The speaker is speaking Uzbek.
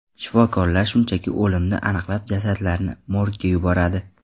Shifokorlar shunchaki o‘limni aniqlab jasadlarni morgga yuboradi.